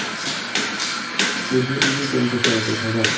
চৈধ্য degree temperature অকল ভাৱা